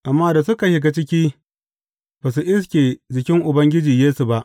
Amma da suka shiga ciki, ba su iske jikin Ubangiji Yesu ba.